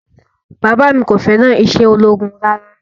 Bàbá mi kò fẹ́ràn iṣẹ́ ológun rárá